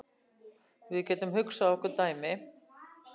Við getum hugsað okkur dæmi.